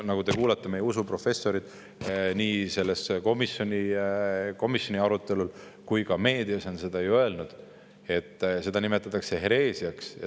Ehk olete kuulnud, meie usuprofessorid on nii komisjoni arutelul kui ka meedias ju öelnud, et seda nimetatakse hereesiaks.